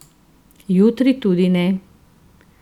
Jutri tudi ne.